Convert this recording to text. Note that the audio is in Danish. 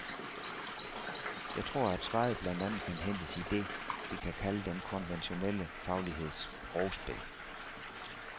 Jeg tror, at svaret blandt andet kan hentes i det, vi kan kalde den konventionelle fagligheds sprogspil.